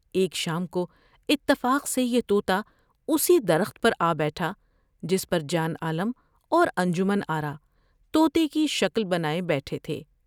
ایک شام کو اتفاق سے یہ تو تا اسی درخت پر آ بیٹھا جس پر جان عالم اور انجمن آرا توتے کی شکل بنائے بیٹھے تھے ۔